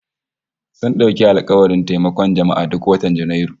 Sun dauki alkawarin taimakon jama'a duk watan Janairu